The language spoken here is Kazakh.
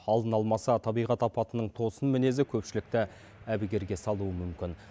алдын алмаса табиғат апатының тосын мінезі көпшілікті әбігерге салуы мүмкін